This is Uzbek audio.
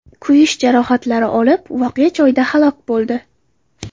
kuyish jarohatlari olib, voqea joyida halok bo‘ldi.